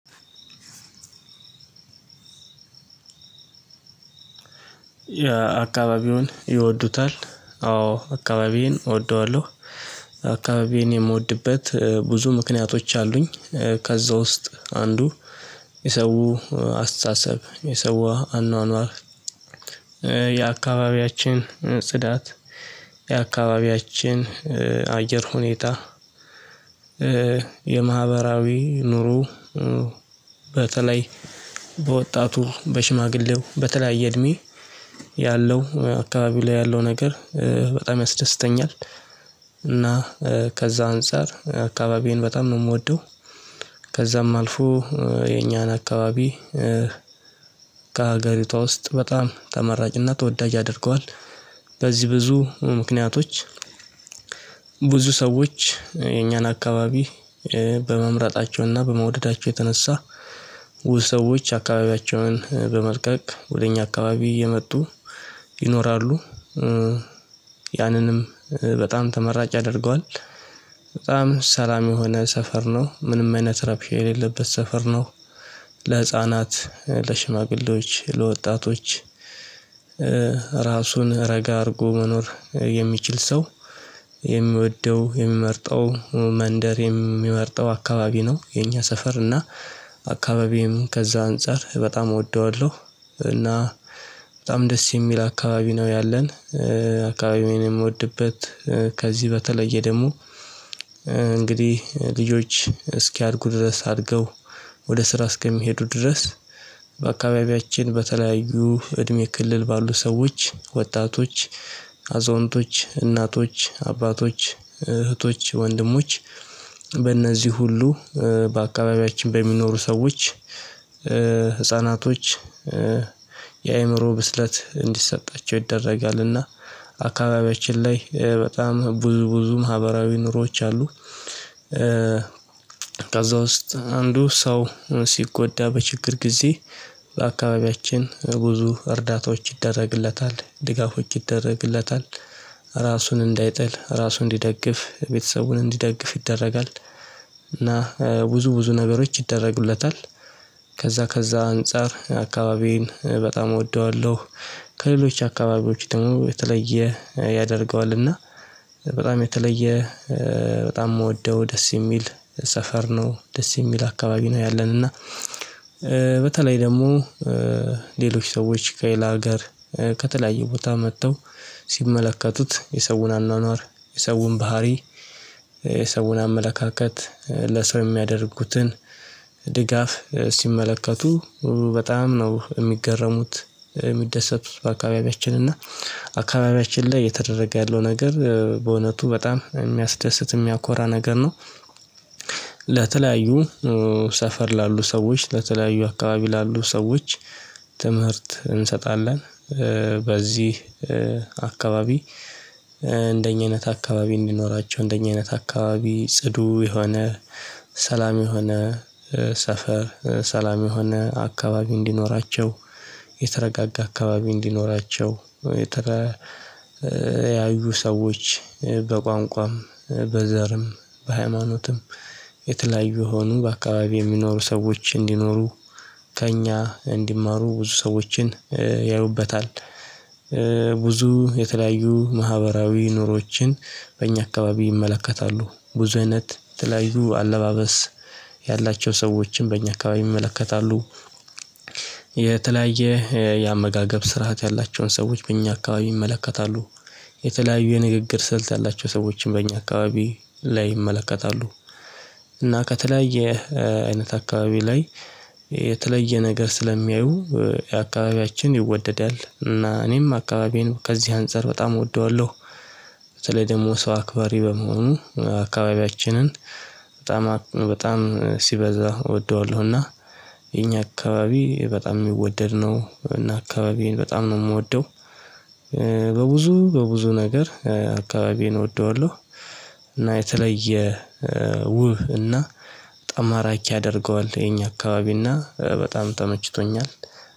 የአካባቢውን ይወዱታል? አዎ አካባቢዬን እወደዋለሁ። አካባቢዬን የምወድበት ብዙ ምክንያቶች አሉኝ። ከዛ ውስጥ አንዱ የሰው አስተሳሰብ የሰው አኗኗር። የአካባቢያችን ጽዳት የአካባቢያችን አየር ሁኔታ። የማህበራዊ ኑሮ በተለይ በወጣቱ በሽማግሌው በተለያየ እድሜ ያለው አካባቢ ላይ ያለው ነገር በጣም ያስደስተኛል። እና ከዛ አንፃር አካባቢዬን በጣም ነው የምወደው። ከዛም አልፎ የኛን አካባቢ ከሀገሪቷ ውስጥ በጣም ተመራጭና ተወዳጅ ያደርገዋል። በዚህ ብዙ ምክንያቶች ብዙ ሰዎች የኛን አካባቢ በመምረጣቸውና በመውደዳቸው የተነሳ ብዙ አካባቢያቸውን በመልቀቅ ወደ እኛ አካባቢ እየመጡ ይኖራሉ። ያንንም በጣም ተመራጭ ያደርገዋል በጣም ሰላም የሆነ ሰፈር ነው ምንም አይነት ረብሻ የሌለበት ሰፈር ነው። ለህፃናት ለሽማግሌዎች ለወጣቶች ራሱን ረጋ አድርጎ መኖር የሚችል ሰው የሚወደው የሚመርጠው መንደር የሚመርጠው አካባቢ ነው። የኛ ሰፈር እና አካባቢየም ከዛ አንፃር በጣም እወደዋለሁ። እና በጣም ደስ የሚል አካባቢ ነው ያለን። አካባቢዬን የምወድበት ከዚህ በተለየ ደግሞ እንግዲህ ልጆች እስኪያድጉ ድረስ አድገው ወደ ስራ እስከሚሄዱ ድረስ በአካባቢያችን በተለያዩ እድሜ ክልል ባሉ ሰዎች ወጣቶች አዛውንቶች እናቶች አባቶች እህቶች ወንድሞች በእነዚህ ሁሉ በአካባቢያችን በሚኖሩ ሰዎች። ህፃናቶች የአእምሮ ብስለት እንዲሰጣቸው ይደረጋልና አካባቢያችን ላይ በጣም ብዙ ብዙ ማህበራዊ ኑሮዎች አሉ። ከዛ ውስጥ አንዱ ሰው ሲጎዳ በችግር ጊዜ በአካባቢያችን ብዙ እርዳታዎች ይደረግለታል ድጋፎች ይደረግለታል ራሱን እንዳይጥል ራሱን እንዲደግፍ ቤተሰቡን እንዲደግፍ ይደረጋል። እና ብዙ ብዙ ነገሮች ይደረጉለታል ከዛ አንፃር አካባቢዬን በጣም እወደዋለሁ። ከሌሎች አካባቢዎች የተለየ ያደርገዋል እና በጣም የተለየ በጣም የምወደው ደስ የሚል ሰፈር ነው ደስ የሚል አካባቢ ነው። ያለን እና በተለይ ደግሞ ሌሎች ሰዎች ከሌላ ሀገር ከተለያዩ ቦታ መጥተው ሲመለከቱት የሰውን አኗኗር የሰውን ባህሪ የሰውን አመለካከት ለሰው የሚያደርጉትን ድጋፍ ሲመለከቱ በጣም ነው የሚገረሙት የሚደሰቱት በአካባቢያችን እና አካባቢያችን ላይ እየተደረገ ያለው ነገር በእውነቱ በጣም የሚያስደስት የሚያኮራ ነገር ነው። ለተለያዩ ሰፈር ላሉ ሰዎች ለተለያዩ አካባቢ ላሉ ሰዎች ትምህርት እንሰጣለን። በዚህ አካባቢ እንደኛ አይነት አካባቢ እንዲኖራቸው እንደኛ አይነት አካባቢ ጽዱ የሆነ ሰላም የሆነ ሰፈር ሰላም የሆነ አካባቢ እንዲኖራቸው የተረጋጋ አካባቢ እንዲኖራቸው የተለያዩ ሰዎች በቋንቋም በዘርም በሃይማኖትም የተለያዩ የሆኑ በአካባቢው የሚኖሩ ሰዎች እንዲኖሩ ከእኛ እንዲማሩ ብዙ ሰዎችን ያዩበታል። ብዙ የተለያዩ ማህበራዊ ኑሮችን በእኛ አካባቢ ይመለከታሉ ብዙ አይነት የተለያዩ አለባበስ ያላቸው ሰዎችን በእኛ አካባቢ ይመለከታሉ። የተለያየ የአመጋገብ ስርዓት ያላቸውን ሰዎች በእኛ አካባቢ ይመለከታሉ። የተለያዩ የንግግር ስልት ያላቸው ሰዎችን በእኛ አካባቢ ላይ ይመለከታሉ። እና ከተለያየ አይነት አካባቢ ላይ የተለየ ነገር ስለሚያዩ የአካባቢያችን ይወደዳል እና እኔም አካባቢዬን ከዚህ አንፃር በጣም እወደዋለሁ። በተለይ ደግሞ ሰው አክባሪ በመሆኑ አካባቢያችንን በጣም በጣም ሲበዛ እወደዋለሁና የኛ አካባቢ በጣም የሚወደድ ነው እና አካባቢዬን በጣም ነው የምወደው። በብዙ በብዙ ነገር አካባቢዬን እወደዋለሁ። እና የተለየ ውብ እና በጣም ማራኪ ያደርገዋል የኛ አካባቢና በጣም ተመችቶኛል።